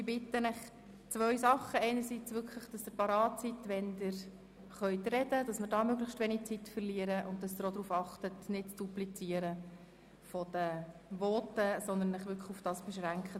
einerseits, dass Sie wirklich bereit sind, wenn Sie als Rednerin oder Redner an die Reihe kommen, sodass wir möglichst wenig Zeit verlieren, andererseits, darauf zu achten, die Voten nicht zu duplizieren, sondern sich auf das Relevante und Andere zu beschränken.